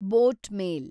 boat ಮೇಲ್